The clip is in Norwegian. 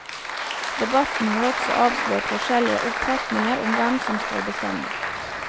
Debatten har også avslørt forskjellige oppfatninger om hvem som skal bestemme.